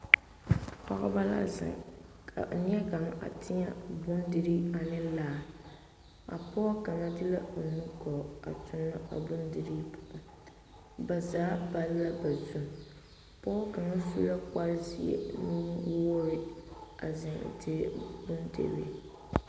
Pɔgebɔ la zeŋ ka neɛ kaŋa a tēɛ bondirii ane laa, a pɔge kaŋa de la o nu-gɔɔ a tonɔ a bondirii poɔ, ba zaa palla ba zu, pɔge kaŋa su la kpare zeɛ nu-wogiri a zeŋ dire bondirii.